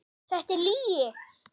Þetta er lygi.